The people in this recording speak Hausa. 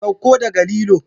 Saukowa daga lilo